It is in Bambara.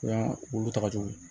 U y'an olu tagajugu